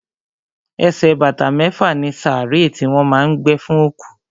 Ẹsẹ̀ bàtà mẹ́fà ni sàárè tí wọ́n má a ń gbé fún òkú.